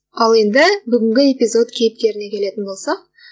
ал енді бүгінгі эпизод кейіпкеріне келетін болсақ